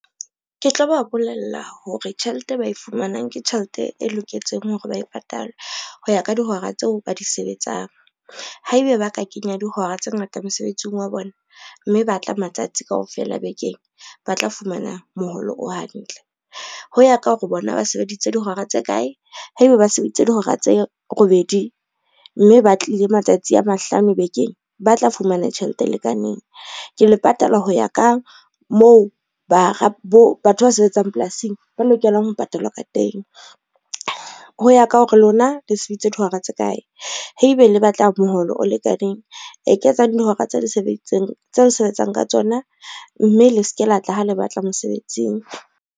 Ke tlo ba bolella hore tjhelete ba e fumanang ke tjhelete e loketseng hore ba e patalwe ho ya ka dihora tseo ba di sebetsang. Haebe ba ka kenya dihora tse ngata mosebetsing wa bona, mme ba tla matsatsi kaofela bekeng ba tla fumana moholo o hantle. Ho ya ka hore bona ba sebeditse dihora tse kae, haeba ba sebeditse dihora tse robedi mme ba tlile matsatsi a mahlano bekeng, ba tla fumana tjhelete e lekaneng. Ke le patala ho ya ka moo batho ba sebetsang polasing ba lokelang ho patalwa ka teng, ho ya ka hore lona le sebeditse dihora tse kae. Haebe le batla moholo o lekaneng, eketsang dihora tse le sebetsang ka tsona, mme le se ke la tla ha le batla mosebetsing.